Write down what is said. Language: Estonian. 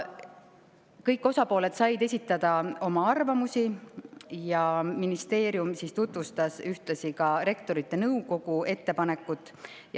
Kõik osapooled said esitada oma arvamusi ja ministeerium tutvustas ühtlasi Rektorite Nõukogu ettepanekut.